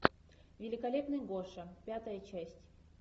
великолепный гоша пятая часть